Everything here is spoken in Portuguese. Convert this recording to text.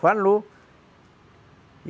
Falou.